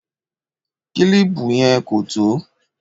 Kílìpù yẹn kò tó